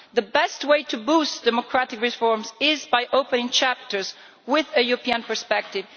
The best way to boost democratic reforms is by opening chapters with a European perspective.